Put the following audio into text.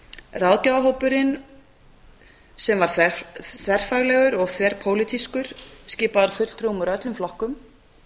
ráðgjafarhópurinn sem var þverfaglegur og þverpólitískur skipaður fulltrúum úr öllum flokkum